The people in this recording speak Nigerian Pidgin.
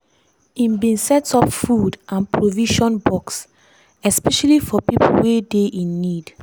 im bin set up food and provision box especially for pipo wey dey in need.